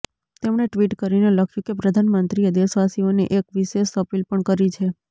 તેમણે ટ્વિટ કરીને લખ્યુ કે પ્રધાનમંત્રીએ દેશવાસીઓને એક વિશેષ અપીલ પણ કરી છે